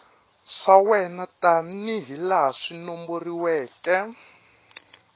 swa wena tanihilaha swi nomboriweke